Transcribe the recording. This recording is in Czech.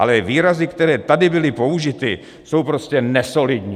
Ale výrazy, které tady byly použity, jsou prostě nesolidní.